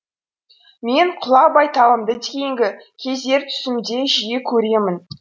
мен құла байталымды кейінгі кездері түсімде жиі көремін